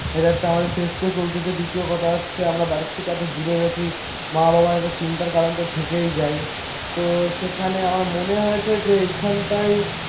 এটা একটা আমাদের ফেস কেউ চলতেছে. দ্বিতীয় কথা হচ্ছে. আমরা বাড়ির থেকে এত দূরে রয়েছি মা বাবার একটা চিন্তার কারণ তো থেকেই যায়. তো সেখানে আমার মনে হয়েছে যে এইখানটায়